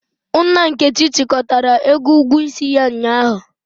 Nna Nkechi chịkọtara ego ugwuo isi ya ụnyahụ.